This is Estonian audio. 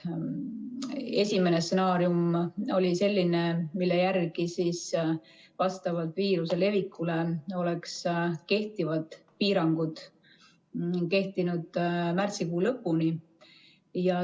Esimene stsenaarium oli selline, mille järgi vastavalt viiruse levikule oleks kehtivad piirangud kehtinud märtsikuu lõpuni.